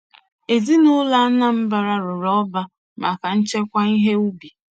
Ezinaụlọ Anambra rụrụ ọba maka nchekwa ihe ubi.